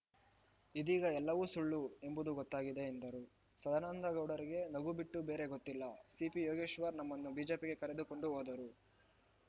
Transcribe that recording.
ಇದೀಗ ಎಲ್ಲವೂ ಸುಳ್ಳು ಎಂಬುದು ಗೊತ್ತಾಗಿದೆ ಎಂದರು ಸದಾನಂದಗೌಡರಿಗೆ ನಗು ಬಿಟ್ಟು ಬೇರೆ ಗೊತ್ತಿಲ್ಲ ಸಿಪಿಯೋಗೇಶ್ವರ್‌ ನಮ್ಮನ್ನು ಬಿಜೆಪಿಗೆ ಕರೆದುಕೊಂಡು ಹೋದರು